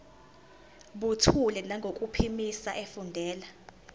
buthule nangokuphimisa efundela